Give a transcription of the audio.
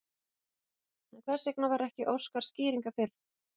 En hvers vegna var ekki óskað skýringa fyrr?